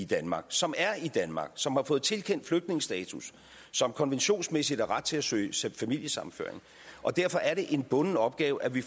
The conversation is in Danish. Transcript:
danmark som er i danmark som har fået tilkendt flygtningestatus som konventionsmæssigt har ret til at søge familiesammenføring og derfor er det en bunden opgave at vi